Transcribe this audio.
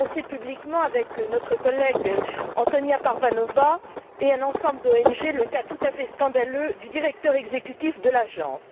J'ai dénoncé publiquement, avec notre collègue Antonyia Parvanova et un ensemble d'ONG, le cas tout à fait scandaleux du directeur exécutif de l'agence.